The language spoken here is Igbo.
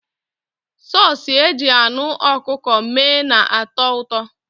Sọọsụ e ji anụ ọkụkọ mee na-atọ ụtọ.